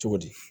Cogo di